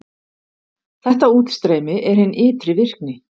Þetta útstreymi er hin ytri virkni.